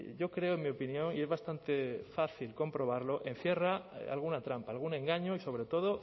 yo creo en mi opinión y es bastante fácil comprobarlo encierra alguna trampa algún engaño y sobre todo